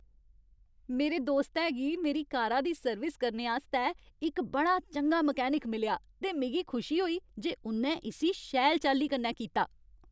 मेरे दोस्तै गी मेरी कारा दी सर्विस करने आस्तै इक बड़ा चंगा मकैनिक मिलेआ ते मिगी खुशी होई जे उ'न्नै इस्सी शैल चाल्ली कन्नै कीता।